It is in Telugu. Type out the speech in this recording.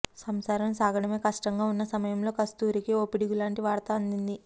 సంసారం సాగడమే కష్టంగా ఉన్న సమయంలో కస్తూరికి ఓ పిడుగులాంటి వార్త అందింది